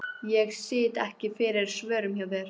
Ég sit ekki fyrir svörum hjá þér.